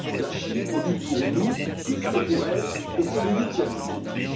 La Chine pollue pour nous plus que pour elle, et c'est le huitième objectif.